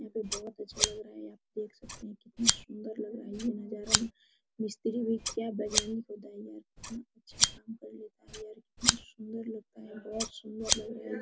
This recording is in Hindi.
यहां पे बहुत अच्छा लग रहा है देख सकते है कितना सुन्दर लग रह है ये नजारा है मिस्त्री भी कितना अच्छा काम कर लेता हैं यार कितना सुन्दर लगता है बहुत सुन्दर लग रहा है ये--